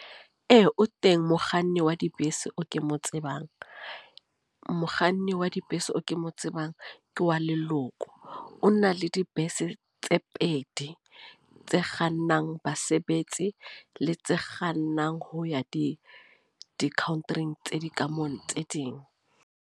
Ee, o teng mokganni wa dibese o ke mo tsebang. Mokganni wa dibese o ke mo tsebang ke wa leloko. O na le dibese tse pedi, tse kgannang basebetsi, le tse kgannang ho ya di di-Country-ing tse dikamano tse ding.